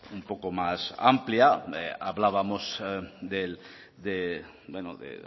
un poco más amplia hablábamos de